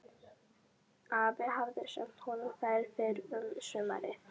Afi hafði sent honum þær fyrr um sumarið.